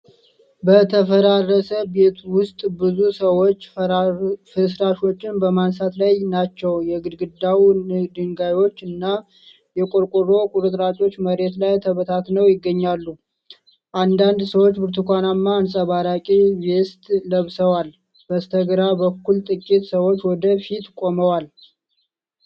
በተፈራረሰ ቤት ውስጥ ብዙ ሰዎች ፍርስራሾችን በማንሳት ላይ ናቸው። የግድግዳው ድንጋዮች እና የቆርቆሮ ቁርጥራጮች መሬት ላይ ተበታትነው ይገኛሉ። አንዳንድ ሰዎች ብርቱካናማ አንጸባራቂ ቬስት ለብሰዋል። በስተግራ በኩል ጥቂት ሰዎች ወደ ፊት ቆመውን?